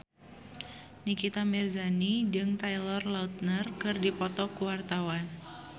Nikita Mirzani jeung Taylor Lautner keur dipoto ku wartawan